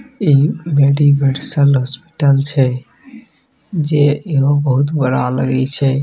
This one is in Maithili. इ मेडीवर्सल हॉस्पिटल छै जे इहो बहुत बड़ा लगय छै।